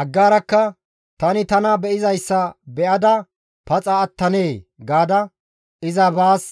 Aggaarakka, «Tani tana be7izayssa be7ada paxa attanee?» gaada iza baas